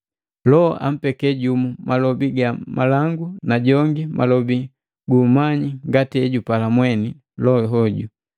Loho ampeke jumu malobi ga malangu na jongi malobi guumanyi ngati ejupala mweni Loho hoju.